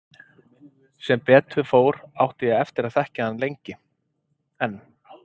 Sem betur fór átti ég eftir að þekkja hann lengi enn.